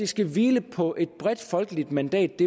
skal hvile på et bredt folkeligt mandat